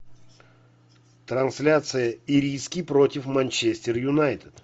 трансляция ириски против манчестер юнайтед